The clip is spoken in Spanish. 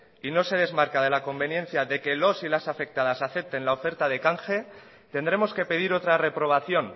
y no se desmarca de la conveniencia de que los y las afectas acepten la oferta de canje tendremos que pedir otra reprobación